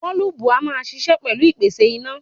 Bọ́ọ́lùbù a máa ṣiṣẹ́ pẹ̀lú ìpèsè iná.